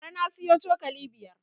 Bara na siyo cokali biyar